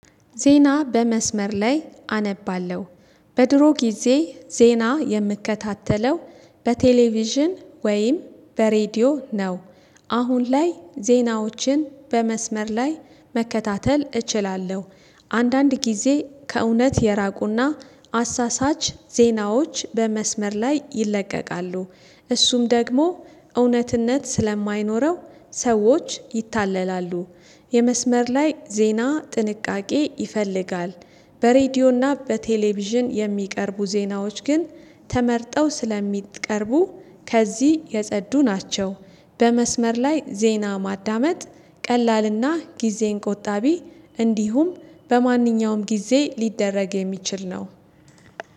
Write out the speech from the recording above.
ዜና በመስመር ላይ አነባለሁ። በድሮ ጊዜ ዜና የምከታተለው በቴሌቪዥን ወይም በሬዲዮ ነው። አሁን ላይ ዜናዎችን በመስመር ላይ መከታተል እችላለሁ። አንዳንድ ጊዜ ከእውነት የራቁና አሳሳች ዜናዎች በመስመር ላይ ይለቀቃሉ። እሱም ደግሞ እውነትነት ስለማይኖረው ሰዎች ይታለላሉ። የመስመር ላይ ዜና ጥንቃቄ ይፈልጋል። በሬዲዮና በቴሌቪዥን የሚቀርቡ ዜናዎች ግን ተመርጠው ስለሚቀርቡ ከዚህ የጸዱ ናቸው። በመስመር ላይ ዜና ማዳመጥ ቀላልና ጊዜን ቆጣቢ እንዲሁም በማንኛውም ጊዜ ሊደረግ የሚችል ነው።